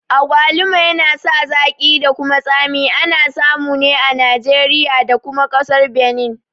Agwaluba yana sa zaƙi da kuma tsami, ana samu ne a Nijeriya da kuma ƙasar Beni